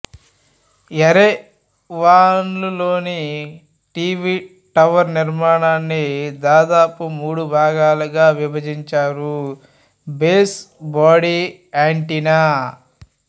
యెరెవాన్లోని T V tower నిర్మాణాన్ని దాదాపు మూడు భాగాలుగా విభజించారు బేస్ బాడీ యాంటెన్నా